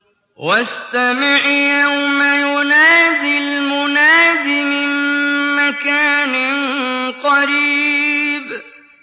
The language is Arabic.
وَاسْتَمِعْ يَوْمَ يُنَادِ الْمُنَادِ مِن مَّكَانٍ قَرِيبٍ